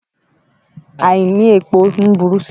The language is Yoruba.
Àìní epo ń burú sí i.